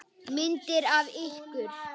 Myndir af ykkur.